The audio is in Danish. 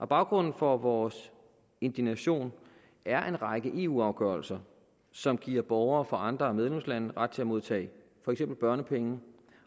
baggrunden for vores indignation er en række eu afgørelser som giver borgere fra andre medlemslande ret til at modtage for eksempel børnepenge